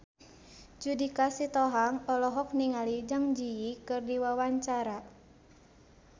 Judika Sitohang olohok ningali Zang Zi Yi keur diwawancara